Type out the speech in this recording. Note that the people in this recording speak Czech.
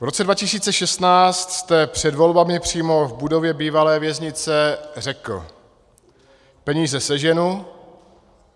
V roce 2016 jste před volbami přímo v budově bývalé věznice řekl: Peníze seženu.